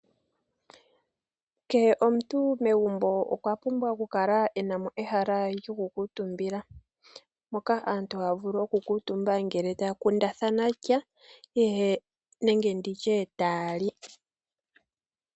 Kehe omuntu megumbo okwa pumbwa oku kala enamo ehala lyokukuutumbila moka aantu haya vulu oku kuutumba ngele taya kundathana sha nenge nditye taya li.